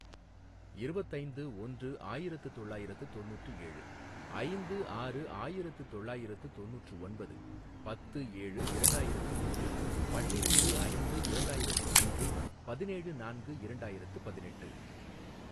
இருபத்து ஐந்து ஒன்று ஆயிரத்து தொள்ளாயிரத்து தொண்ணுற்று ஏழு ஐந்து ஆறு ஆயிரத்து தொள்ளாயிரத்து தொண்ணுற்று ஒன்பது பத்து ஏழு இரண்டாயிரத்து ஒன்று பன்னிரெண்டு ஐந்து இரண்டாயிரத்து மூன்று பதினேழு நான்கு இரண்டாயிரத்து பதினெட்டு